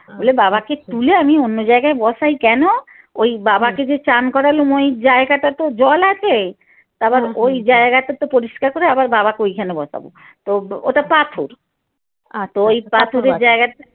লে বাবাকে তুলে আমি অন্য জায়গায় বসাই কেন ওই বাবাকে যে চান করালুম ওই জায়গাটা তো জল আছে তা আবার ওই জায়গাটা তো পরিস্কার করে আবার বাবাকে ওইখানে বসাবো তো ওটা পাথর তো ওই পাথরে জায়গাটা